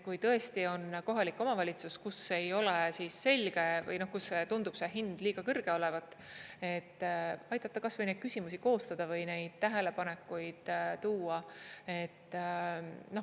Kui tõesti on kohalik omavalitsus, kus ei ole selge või kus tundub see hind liiga kõrge olevat, siis aidata kas või neid küsimusi koostada või neid tähelepanekuid tuua.